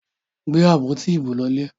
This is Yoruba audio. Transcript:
Gbé àpótí ibo lọlé!